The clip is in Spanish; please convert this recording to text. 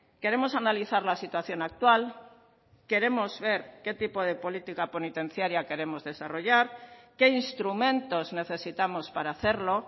queremos analizar la situación actual queremos ver qué tipo de política penitenciaria queremos desarrollar qué instrumentos necesitamos para hacerlo